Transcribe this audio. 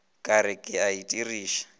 ka re ke a itiriša